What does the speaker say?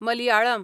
Malayalam